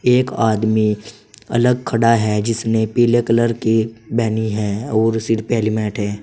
एक आदमी अलग खड़ा है जिसने पीले कलर की बेनी है और सिर पे हेलमेट है।